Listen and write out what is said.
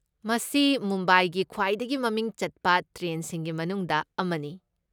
ꯃꯁꯤ ꯃꯨꯝꯕꯥꯏꯒꯤ ꯈ꯭ꯋꯥꯏꯗꯒꯤ ꯃꯃꯤꯡ ꯆꯠꯄ ꯇ꯭ꯔꯦꯟꯁꯤꯡꯒꯤ ꯃꯅꯨꯡꯗ ꯑꯃꯅꯤ꯫